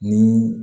Ni